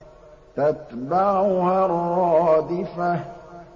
تَتْبَعُهَا الرَّادِفَةُ